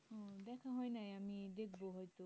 দেখা হয়নাই আমি দেখবো হয়তো